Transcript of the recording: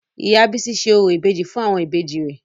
Ìyá Bísí ṣe orò ìbejì fún àwọn ìbejì rẹ̀